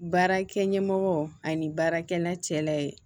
Baarakɛ ɲɛmɔgɔ ani baarakɛla cɛla ye